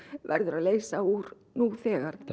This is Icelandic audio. verður að leysa úr nú þegar